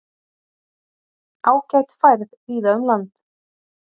Ágæt færð víða um land